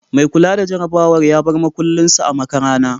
Mai kula da jarabawar ya bar makulin sa a makarana